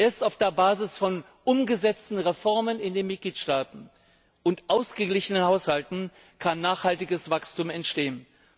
Erst auf der Basis von umgesetzten Reformen in den Mitgliedstaaten und ausgeglichenen Haushalten kann nachhaltiges Wachstum entstehen.